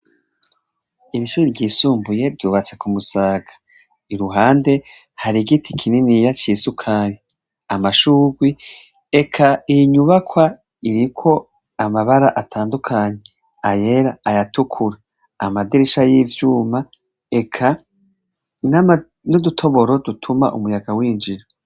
Irishure ryisumbuye ryubatse ku musaga iruhande hari igiti kininiya cisukari amashurwe eka iyinyubakwa iriko amabara atandukanye ayera ayatukura amadirisha yivyuma eka nudutoboro dutuma umuyaga winjira